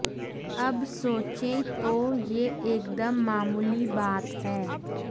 अब सोचें तो यह एकदम मामूली बात है